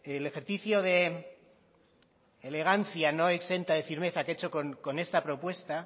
el ejercicio de elegancia no exenta de firmeza que ha hecho con esta propuesta